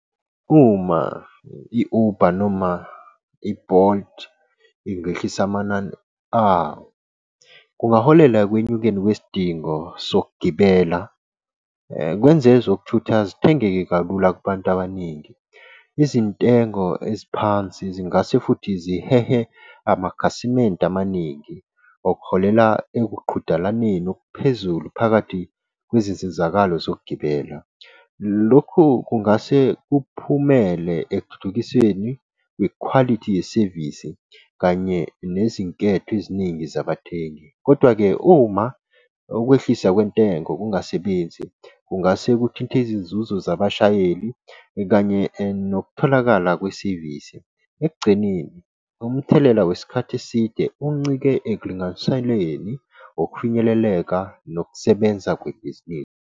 Uma i-Uber noma i-Bolt ingehlisa amanani awo kungaholela ekwenyukeni kwesidingo sokugibela kwenze ezokuthutha zithengeke kalula kubantu abaningi. izintengo eziphansi zingase futhi zihehe amakhasimende amaningi, okuholela ekuqhudelaneni okuphezulu phakathi kwezizizakalo zokugibela. Lokhu kungase kuphumele ekuthuthukiseni kwikhwalithi yesevisi kanye nezinketho eziningi zabathengi. Kodwa-ke uma ukwehlisa kwentengo kungasebenzi kungase kuthinte izinzuzo zabashayeli kanye nokutholakala kwesevisi. Ekugcineni umthelela wesikhathi eside uncike ekulinganiseleni ukufinyeleleka nokusebenza kwebhizinisi.